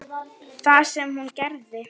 Það sem hún gerði: